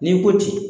N'i ko ten